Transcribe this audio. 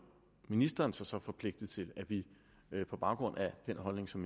ministeren sig så forpligtet til at vi på baggrund af den holdning som